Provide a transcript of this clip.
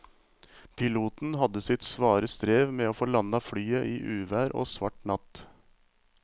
Piloten hadde sitt svare strev med å få landet flyet i uvær og svart natt.